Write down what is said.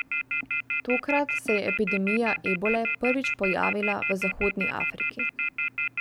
Tokrat se je epidemija ebole prvič pojavila v Zahodni Afriki.